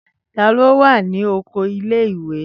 Tani o wa ni oko ìle-ìwe?